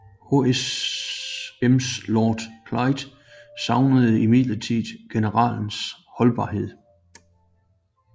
HMS Lord Clyde savnede imidlertid generalens holdbarhed